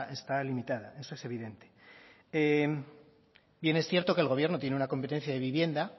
está limitada eso es evidente bien es cierto que el gobierno tiene una competencia de vivienda